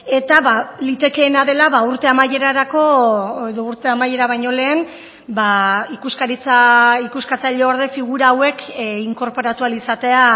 eta litekeena dela urte amaierarako edo urte amaiera baino lehen ikuskaritza ikuskatzaileorde figura hauek inkorporatu ahal izatea